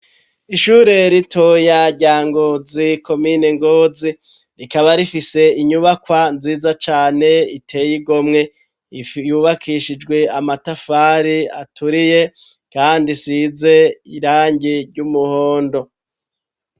Ishure ritoya rya ngozi komine ngozi rikaba rifise inyubakwa nziza cane iteye igomwe iyubakishijwe amatafari aturiye, kandi size irangi ry'umuhondo.